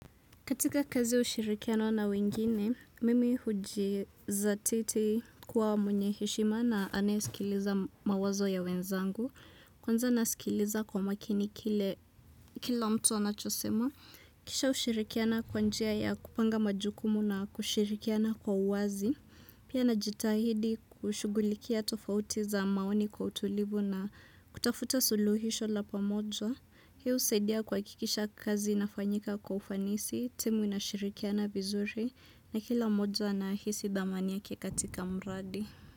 Katika kazi yaushirikiano na wengine, mimi hujizatiti kuwa mwenyeheshima na anayesikiliza mawazo ya wenzangu. Kwanza nasikiliza kwa makini kile kila mtu anachosema. Kisha hushirikiana kwanjia ya kupanga majukumu na kushirikiana kwa uwazi. Pia na jitahidi kushugulikia tofauti za maoni kwa utulivu na kutafuta suluhisho la pamoja. Hii husaidia kuhakikisha kazi inafanyika kwaufanisi, timu inashirikiana vizuri na kila moja anahisi dhamani yake katika mradi.